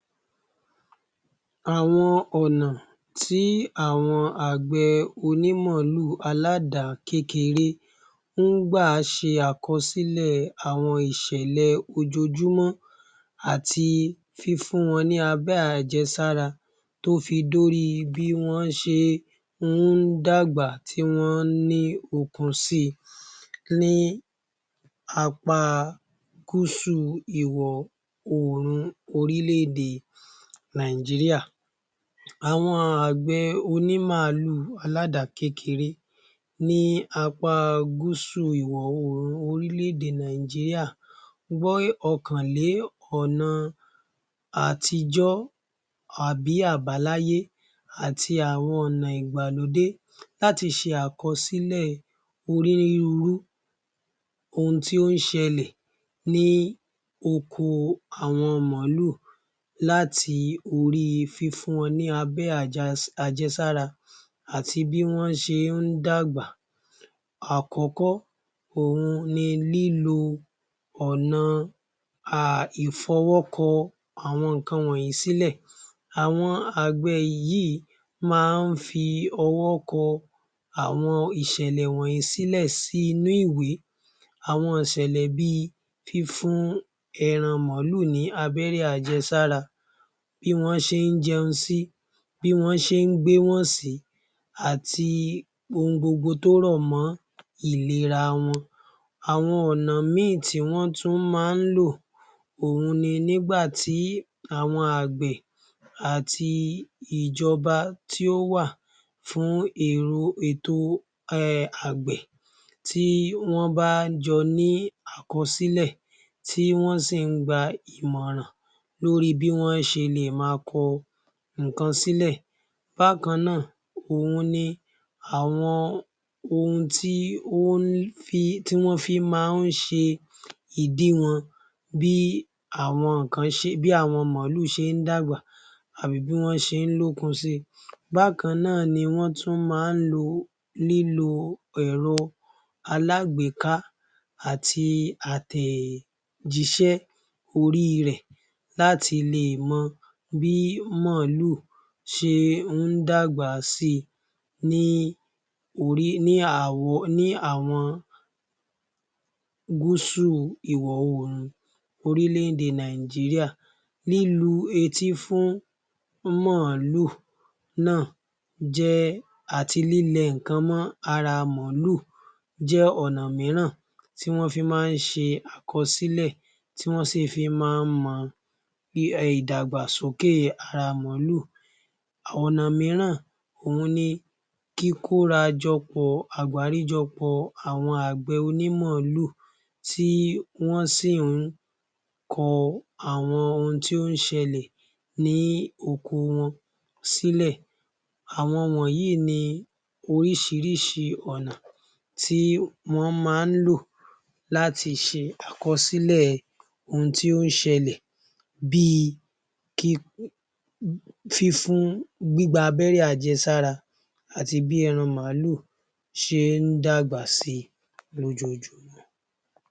Àwọn ònà tí àwọn onímàálù aládàá kékeré ń gbà ṣe àkọsílẹ̀ àwọn ìṣẹlẹ̀ ojojúmọ́ àti fífún won ní abẹrẹ́ àjẹsára tó fi dórí bí wón ṣe ń dàgbà tí wón ní okun sí i ní apá gúúsù ìwọ̀ oòrùn orílẹ-èdè Nàìjíríà. Àwọn àgbẹ̀ onímàálù aládàá kékeré ní apá gúúsù ìwọ̀ oòrùn orílẹ-èdè Nàìjíríà gbé ọkàn lé ọ̀na àtijọ́ àbí àbáláyé àti àwọn ònà ìgbàlódé láti ṣe àkọsílẹ̀ onírúurú ohun tí ó ń ṣẹlẹ̀ ní oko àwọn màálù láti fún wọn ní abẹ́rẹ́ àjẹsára àti bí wọ́n ṣe ń dàgbà. Àkọ́kọ́ òhun ni lílo ọ̀nà ìfọwọ́ko àwọn nǹkan wọnyi sílẹ̀. Àwọn àgbẹ̀ èyí máa ń fi owó kọ àwọn nǹkan wọ̀nyí sílẹ̀. Àwọn àgbẹ̀ yìí máa ń fi owó kọ àwọn ìṣẹlẹ̀ wọnyí sílẹ̀ sínú ìwẹ́. Àwọn ìṣẹlẹ̀ bí i, fífún ẹran màálù ní abẹ́rẹ́ àjẹsára. Bi wón ṣe ń jẹun sí bí wón ṣe ń gbéwọ̀n sí àti ohun gbogbo tó rọ̀ mọ́ ìlera wọn. Àwọn ònà mìí tí wọ́n tún máa ń lò, òun ni nígbàtí àwọn àgbẹ̀ àti ìjọba tí ó wà fún irú ètò àgbẹ̀ tí wọ́n jọ ní àkọsílẹ̀ tí wọ́n sì ń gba ìmọ̀ràn lórí bí wón ṣe lè máa kọ nǹkan sílẹ̀. Bákanáà òhun ni àwọn ohun tí ó ń fi tí wọ́n fi máa ń ṣe ìdiwọ̀n bí àwọn kan ṣe bí àwọn màálù ṣe ń dàgbà àbí bí wọ́n ṣe ń lókun si. Bákannáà ni wọ́n tún máa ń lo lílo ẹ̀rọ aláàgbéká àti àtẹ̀jíṣẹ́ orí rẹ̀ láti lè mọ bí màálù ṣe ń dàgbà si ní orí ní àwọn gúúsù ìwọ̀ oòrùn orílẹ-èdè Nàìjíríà ní lu etí fún màálù náà jẹ́ àti lílẹ nǹkan mó ara màálù jẹ́ ọ̀nà míìràn tí wón fi máa ń ṣe àkọsílẹ̀ tí wọ́n sì fi máa ń mọ bí ìdàgbàsókè ara màálù. Ọ̀nà míìràn òhun ni kíkórajọ pọ àgbáríjọpọ̀ àwọn àgbẹ̀ onímàálù tí wọ́n sì ń kọ àwọn ohun tí ó ń ṣẹlẹ̀ ní oko wọn sílẹ̀. Àwọn wọ̀nyí ni oríṣiríṣi ọ̀nà tí wọ́n máa ń lò láti ṣe àkọsílẹ̀ ohun tí ó ń ṣẹlẹ̀ bí i kíkọ fífún gbígba abẹ́rẹ́ àjẹsára àti bí ẹran màálù ṣe ń dàgbà si ní ojoojúmọ́.